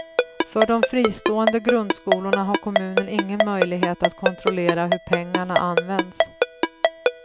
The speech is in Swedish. För de fristående grundskolorna har kommunen ingen möjlighet att kontrollera hur pengarna används.